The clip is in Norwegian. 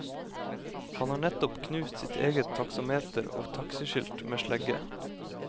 Han har nettopp knust sitt eget taksameter og taxiskilt med slegge.